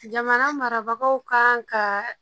Jamana marabagaw kan ka